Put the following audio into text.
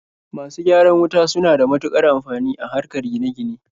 Masu gyaran wuta suna da matuƙar amfani a harkar gine-gine.